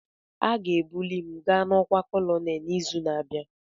Aga-ebuli m ga n'ọkwa Kolonel n'izu na-abịa